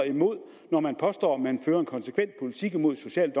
imod når man påstår man fører en konsekvent politik imod social